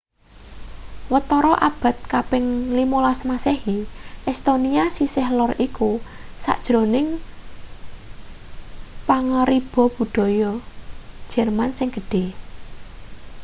watara abad kaping 15 masehi estonia sisih lor iku sajroning pangaribawa budaya jerman sing gedhe